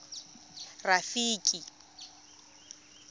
rafiki